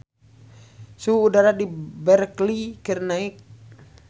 Suhu udara di Berkeley keur naek